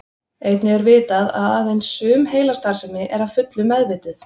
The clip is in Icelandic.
Einnig er vitað að aðeins sum heilastarfsemi er að fullu meðvituð.